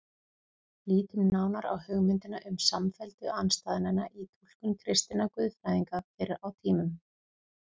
Lítum nánar á hugmyndina um samfellu andstæðnanna í túlkun kristinna guðfræðinga fyrr á tímum.